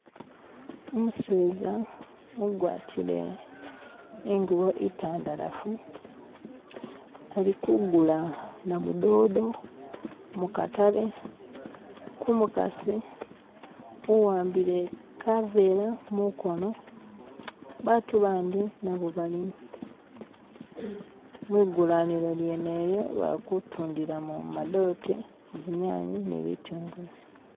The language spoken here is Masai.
Umuseeza ugwatiire i'ngubo intandalafu alikuguula namudodo mu katale ku mukasi uwambile kaveera mukoono, abantu bandi nabo balimo mwigulaniro lyene lyo, bali kutundila mo madote, zinyanye, ni bitungulu.